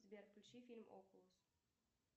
сбер включи фильм окулус